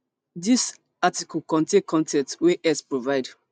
dis article contain con ten t wey x provide